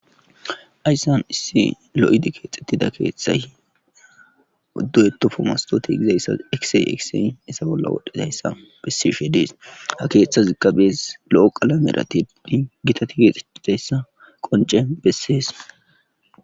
ayssan issi lo7idi keexettida keeththay du7etofo mastoti gizayssa ekisey ekisey isa bolla wodhdhidayssa bessishe dees ha keeththa zigqabees lo7o qalameratinni gita ti keexeidayssa qonce bessees